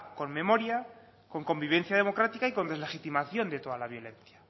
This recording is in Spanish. con memoria con convivencia democrática y con deslegitimación de toda la violencia